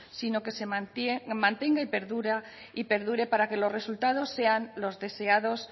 sino que se mantenga y perdure para que los resultados sean los deseados